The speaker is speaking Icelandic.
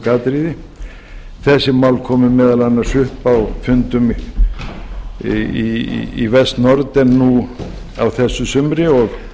einstök atriði þessi mál komu meðal annars upp fundum í best norden nú á þessu sumri og